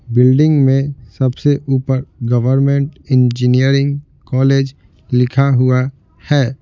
Building में सबसे ऊपर गवर्नमेंट इंजीनियरिंग कॉलेज लिखा हुआ है।